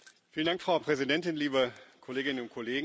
Frau Präsidentin, liebe Kolleginnen und Kollegen!